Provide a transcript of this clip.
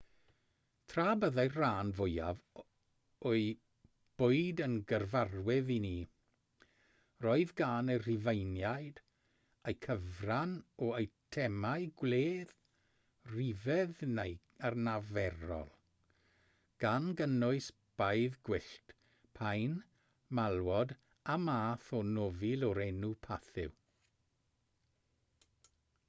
tra byddai'r rhan fwyaf o'u bwyd yn gyfarwydd i ni roedd gan y rhufeiniaid eu cyfran o eitemau gwledd rhyfedd neu anarferol gan gynnwys baedd gwyllt paun malwod a math o nofil o'r enw pathew